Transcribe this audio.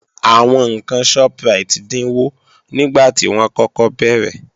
Àwọn ǹkan Shoprite dínwó nígbàtí wọ́n kọ́kọ́ bẹ̀rẹ̀